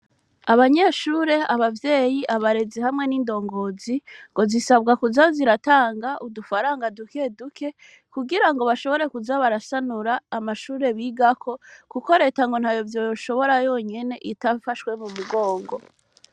Abanyeshure, abavyeyi, abarezi hamwe n'indongozi ngo zisabwa kuza ziratanga udufaranga dukeduke kugirango baze barasanura amashure bigako kuko ngo Leta ntavyo yoshobora yonyene idafahswe mu mugongo.